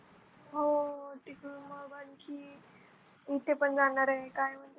हो तिकडून मग आणखी इथे पण जाणार आहे काय म्हणते त्याला